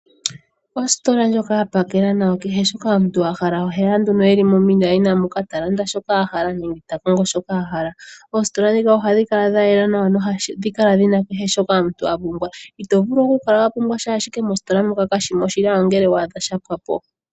Ositola ndjoka ya pakela nawa kehe shoka omuntu a hala oheya nduno e li momilaina moka talanda shoka a hala nenge takongo shoka a hala, oositola dhika ohadhi kala dha yela nawa nohadhi kala dhina kehe shoka omuntu apumbwa, ito vulu oku kala wa pumbwa sha ndele mositola moka kashi mo onge shapo wa adha sha pwa po.